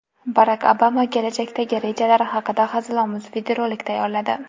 Barak Obama kelajakdagi rejalari haqida hazilomuz videorolik tayyorladi.